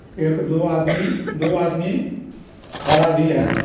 एक दो आदमी दो आदमी खड़ा भी है।